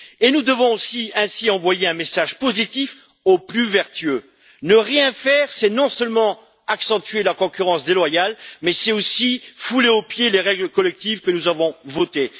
Nous devons aussi envoyer un message positif aux plus vertueux ne rien faire, c'est non seulement accentuer la concurrence déloyale, mais c'est aussi fouler aux pieds les règles collectives que nous avons votées.